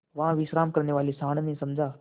वहाँ विश्राम करने वाले सॉँड़ ने समझा